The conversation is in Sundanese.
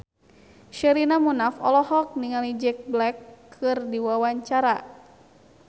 Sherina Munaf olohok ningali Jack Black keur diwawancara